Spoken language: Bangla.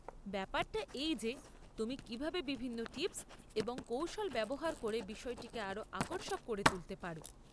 ব্যাপারটা এই যে তুমি কীভাবে বিভিন্ন টিপস এবং কৌশল ব্যবহার করে বিষয়টিকে আরও আকর্ষক করে তুলতে পার।